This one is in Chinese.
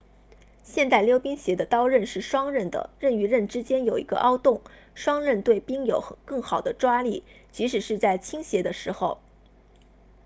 现代溜冰鞋的刀刃是双刃的刃与刃之间有一个凹洞双刃对冰有更好的抓力即使是在倾斜的时候